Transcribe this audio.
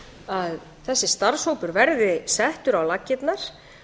að þessi starfshópur verði settur á laggirnar